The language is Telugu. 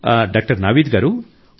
డాక్టర్ నావీద్ గారూ